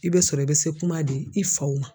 I bɛ sɔrɔ i bɛ se kuma de i faw ma